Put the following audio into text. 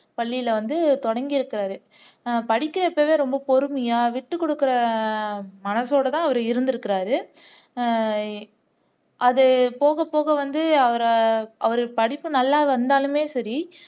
பள்ளியில வந்து தொடங்கி இருக்காரு படிக்கிறப்பவே ரொம்ப பொறுமையா விட்டுக்குடுக்குற மனசோடதான் அவர் இருந்துருக்குறாரு அஹ் அது போகப்போக வந்து அவரை அவரு படிப்பு நல்லா வந்தாலுமே சரி